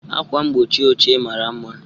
Akwa mgbochi ochie mara mma.